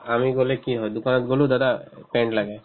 আমি গ'লে কি হয় দোকানত গ'লো দাদা এহ্ pen লাগে